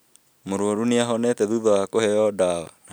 Mũrwaru nĩahonete thutha wa kũheo ndawa